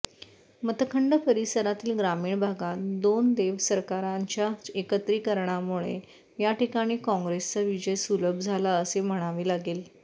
मतखंड परिसरातील ग्रामीण भागात दोन देवसरकरांच्या एकत्रिकरणामुळे याठिकाणी काँग्रेसचा विजय सुलभ झाला असे म्हणावे लागेल